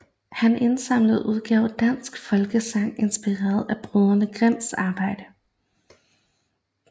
Han indsamlede og udgav danske folkesagn inspireret af brødrene Grimms arbejde